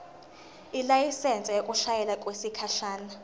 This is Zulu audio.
ilayisensi yokushayela okwesikhashana